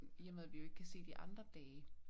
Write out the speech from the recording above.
I og med vi jo ikke kan se de andre dage